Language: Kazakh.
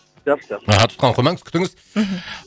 жақсы жақсы аха тұтқаны қоймаңыз күтіңіз мхм